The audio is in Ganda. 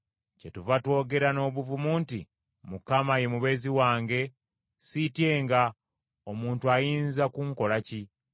Kyetuva twogera n’obuvumu nti, “Mukama ye mubeezi wange, siityenga, omuntu ayinza kunkola ki?”